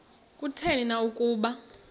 kutheni na ukuba